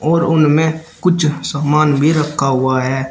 और उनमें कुछ सामान भी रखा हुआ है।